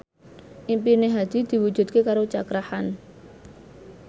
impine Hadi diwujudke karo Cakra Khan